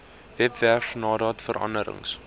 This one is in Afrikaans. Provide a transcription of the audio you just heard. webwerf nadat veranderings